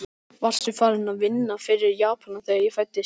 Varstu farinn að vinna fyrir Japanana, þegar ég fæddist?